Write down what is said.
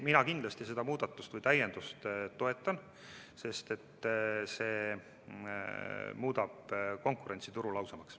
Mina kindlasti seda täiendust toetan, sest see muudab konkurentsi turul ausamaks.